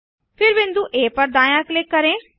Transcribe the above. फिर बिंदु आ पर दायाँ क्लिक करें